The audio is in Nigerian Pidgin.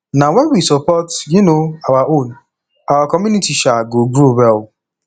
na wen we support um our own our community um go grow well